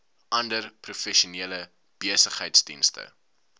ander professionele besigheidsdienste